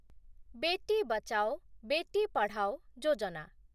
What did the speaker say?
Beti Bachao, Beti Padhao Yojana